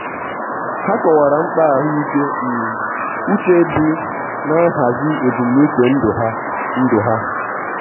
ha kọwara mkpa ahụike um uche di n'ihazi ebumnuche ndụ ha. ndụ ha.